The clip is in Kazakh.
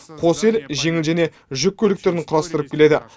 қос ел жеңіл және жүк көліктерін құрастырып келеді